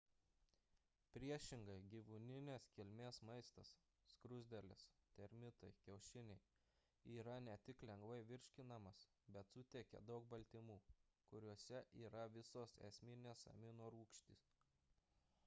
priešingai gyvūninės kilmės maistas skruzdėlės termitai kiaušiniai yra ne tik lengvai virškinamas bet suteikia daug baltymų kuriuose yra visos esminės aminorūgštys